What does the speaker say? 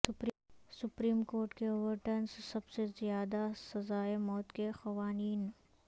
supreme court کے overturns سب سے زیادہ سزائے موت کے قوانین